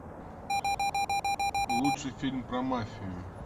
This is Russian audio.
лучший фильм про мафию